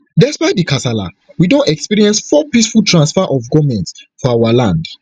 despite di kasala we don experience four peaceful transfer of goment for our land